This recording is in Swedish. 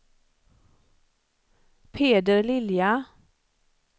Peder Lilja